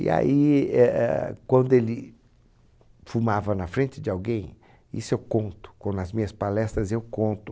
E aí, é, é, quando ele fumava na frente de alguém, isso eu conto, com, nas minhas palestras eu conto,